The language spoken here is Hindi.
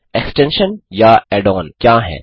एक्सटेंशन या ऐड ऑन क्या हैं